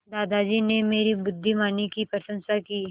दादाजी ने मेरी बुद्धिमानी की प्रशंसा की